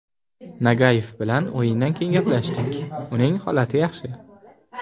Nagayev bilan o‘yindan keyin gaplashdik, uning holati yaxshi.